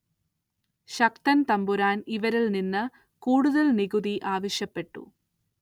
ശക്തന്‍ തമ്പുരാന്‍ ഇവരില്‍ നിന്ന് കൂടുതല്‍ നികുതി ആവശ്യപ്പെട്ടു